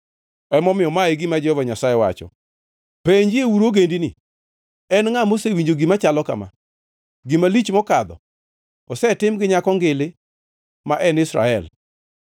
Emomiyo ma e gima Jehova Nyasaye wacho: “Penjieuru ogendini: En ngʼa mosewinjo gima chalo kama? Gima lich mokadho osetim gi Nyako Ngili ma en Israel.